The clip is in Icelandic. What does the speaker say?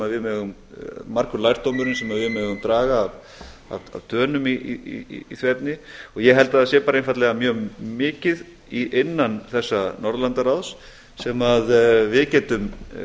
að það sé margur lærdóminn sem við megum draga af dönum í því efni og ég held að það sé bara einfaldlega mjög mikið innan þessa norðurlandaráðs sem við getum